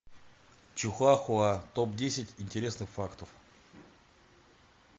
чихуахуа топ десять интересных фактов